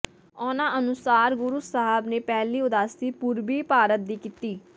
ਉਨ੍ਹਾਂ ਅਨੁਸਾਰ ਗੁਰੂ ਸਾਹਿਬ ਨੇ ਪਹਿਲੀ ਉਦਾਸੀ ਪੂਰਬੀ ਭਾਰਤ ਦੀ ਕੀਤੀ